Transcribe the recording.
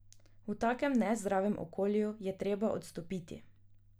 V takem nezdravem okolju je treba odstopiti.